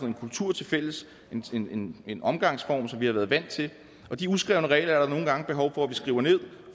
en kultur tilfælles en en omgangsform som vi har været vant til og de uskrevne regler er der nogle gange behov for at vi skriver ned